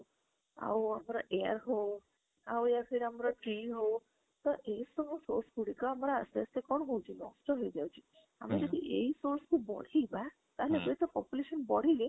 ଆଉ air ହଉ ଆଉ ଆମର tree ହଉ ତ ଏଇ ସବୁ source ଗୁଡିକ ଆମର ଆସ୍ତେ ଆସ୍ତେ କଣ ଜେଇଯାଉଛି ନଷ୍ଟ ହେଇ ଯାଉଛି ଆମେ ଯଦି ଏଇ source କୁ ବଢେଇବା ତାହେଲେ population ବଢିଲେ